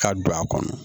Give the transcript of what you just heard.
Ka don a kɔnɔ